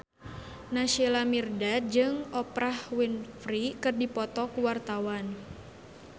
Naysila Mirdad jeung Oprah Winfrey keur dipoto ku wartawan